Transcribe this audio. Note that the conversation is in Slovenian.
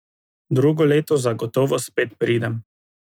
Drugo leto zagotovo spet pridem.